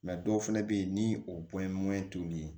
dɔw fɛnɛ be yen ni o ye t'u ni